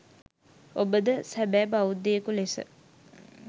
ඔබද සැබෑ බෞද්ධයෙකු ලෙස